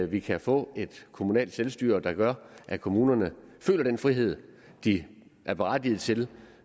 vi kan få et kommunalt selvstyre der gør at kommunerne føler den frihed de er berettiget til